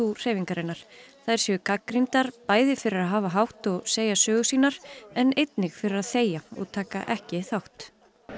hreyfingarinnar þær séu gagnrýndar bæði fyrir að hafa hátt og segja sögur sínar en einnig fyrir að þegja og taka ekki þátt